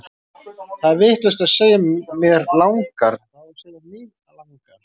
Það er vitlaust að segja mér langar, það á að segja mig langar!